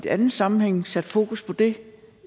anden sammenhæng sat fokus på det